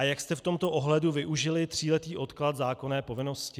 A jak jste v tomto ohledu využili tříletý odklad zákonné povinnosti?